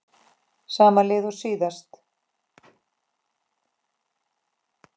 Sama lið og síðast?